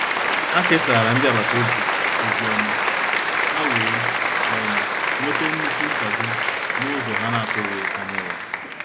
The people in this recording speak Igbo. Ha kesara ndị agbata obi ozi ọma, ha wee um nwete nnukwu nkwado n’ụzọ ha na-atụghị anya ya.